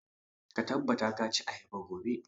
Ka tabbata ka ci ayaba gobe!